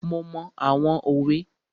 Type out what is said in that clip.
Mo mọ àwọn òwe.